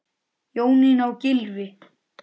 Jónína og Gylfi.